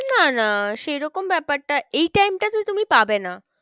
না না সেরকম ব্যাপারটা এই time টাতে তুমি পাবে না।